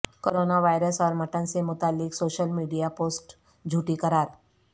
corona virus اور mutton سے متعلق سوشل میڈیا پوسٹ جھوٹی قرار